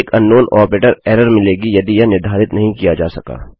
एक अंकनाउन operator error मिलेगीयदि यह निर्धारित नहीं किया जा सका